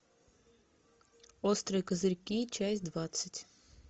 острые козырьки часть двадцать